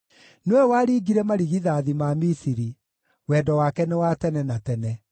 nĩwe waringire marigithathi ma Misiri, Wendo wake nĩ wa tene na tene.